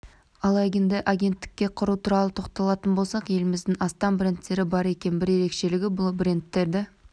ал енді агенттікті құру туралы тоқталатын болсақ елімізде астам брендтер бар екен бір ерекшелігі бұл брендтерді